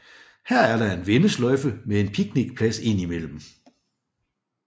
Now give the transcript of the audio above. Her er der en vendesløjfe med en picnicplads indimellem